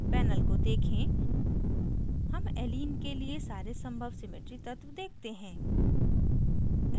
panel को देखें हम allene के लिए सारे संभव symmetry तत्व देखते हैं